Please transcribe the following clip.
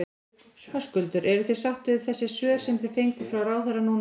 Höskuldur: Eruð þið sátt við þessi svör sem þið fenguð frá ráðherra núna áðan?